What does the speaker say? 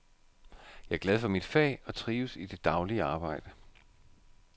Jeg er glad for mit fag og trives i det daglige arbejde.